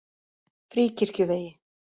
Fríkirkjuvegi